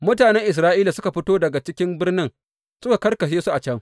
Mutanen Isra’ila da suka fito daga cikin birnin suka karkashe su a can.